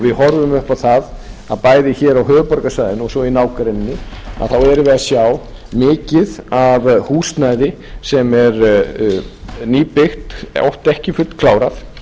við horfum upp á það að bæði hér á höfuðborgarsvæðinu og svo í nágrenninu erum við að sjá mikið af húsnæði sem er nýbyggðu oft ekki fullklárað